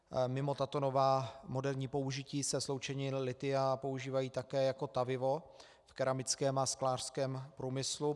Mimo tato nová moderní použití se sloučeniny lithia používají také jako tavivo v keramickém a sklářském průmyslu.